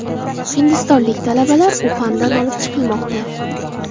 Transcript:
Hindistonlik talabalar Uxandan olib chiqilmoqda.